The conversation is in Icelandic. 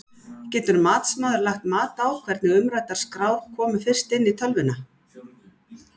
Getur matsmaður lagt mat á hvernig umræddar skrár komu fyrst inn í tölvuna?